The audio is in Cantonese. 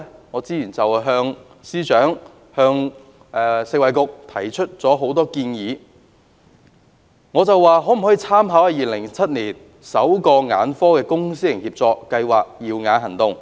我早前向司長和食物及衞生局提出多項建議，我詢問當局可否參考2007年首個眼科公私營協作計劃"耀眼行動"。